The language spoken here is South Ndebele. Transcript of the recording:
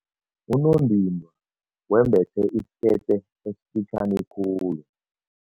Unondindwa wembethe isikete esifitjhani khulu.